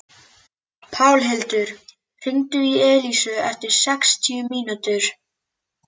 Pálhildur, hringdu í Elísu eftir sextíu mínútur.